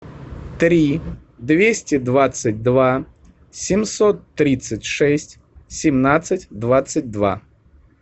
три двести двадцать два семьсот тридцать шесть семнадцать двадцать два